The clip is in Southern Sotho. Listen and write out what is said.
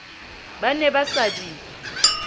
ba ne ba sa di